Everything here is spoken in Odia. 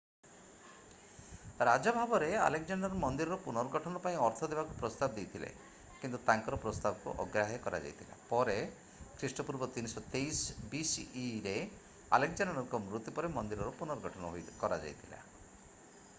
ରାଜା ଭାବରେ ଆଲେକଜାଣ୍ଡର୍ ମନ୍ଦିରର ପୁନର୍ଗଠନ ପାଇଁ ଅର୍ଥ ଦେବାକୁ ପ୍ରସ୍ତାବ ଦେଇଥିଲେ କିନ୍ତୁ ତାଙ୍କର ପ୍ରସ୍ତାବକୁ ଅଗ୍ରାହ୍ୟ କରାଯାଇଥିଲା। ପରେ ଖ୍ରୀଷ୍ଟପୂର୍ବ 323 bceରେ ଆଲେକଜାଣ୍ଡରଙ୍କ ମୃତ୍ୟୁ ପରେ ମନ୍ଦିରର ପୁନର୍ଗଠନ କରାଯାଇଥିଲା।